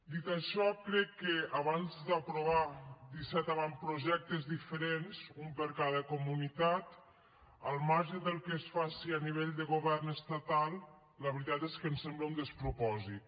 dit això crec que abans d’aprovar disset avantprojectes diferents un per a cada comunitat al marge del que es faci a nivell del govern estatal la veritat és que ens sembla un despropòsit